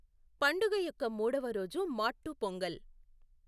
పండుగ యొక్క మూడవ రోజు మాట్టు పొంగల్.